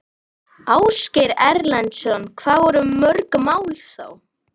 Ásgeir Erlendsson: Hvað voru mörg mál þá?